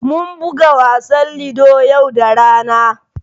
Mun buga wasan Ludo yau da rana.